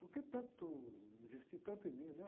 Porque tanto, investir tanto em mim, né?